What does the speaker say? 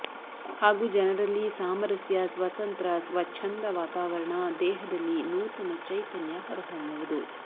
ಹಾಗೂ ಜನರಲ್ಲಿ ಸಾಮರಸ್ಯ ಸ್ವತಂತ್ರ ಸ್ವಚ್ಛಂದ ವಾತಾವರಣ ದೇಹದಲ್ಲಿ ನೂತನ ಚೈತನ್ಯ ಹೊರಹೊಮ್ಮುವುದು